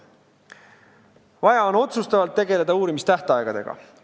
Vaja on otsustavalt tegeleda uurimistähtaegadega.